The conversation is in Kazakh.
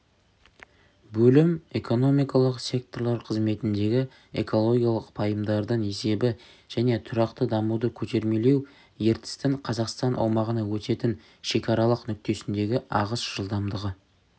бөлім экономикалық секторлар қызметіндегі экологиялық пайымдардың есебі және тұрақты дамуды көтермелеу ертістің қазақстан аумағына өтетін шекаралық нүктесіндегі ағыс жылдамдығы